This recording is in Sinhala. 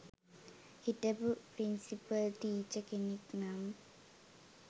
හිටපු ප්‍රින්සිපල් ටීචර් කෙනෙක් නම්